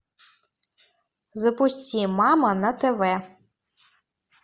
запусти мама на тв